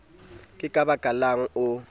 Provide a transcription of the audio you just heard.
ke ka baka lang o